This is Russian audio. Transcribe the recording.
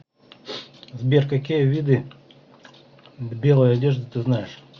сбер какие виды белые одежды ты знаешь